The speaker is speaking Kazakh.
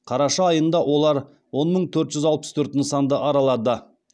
қараша айында олар он мың төрт жүз алпыс төрт нысанды аралады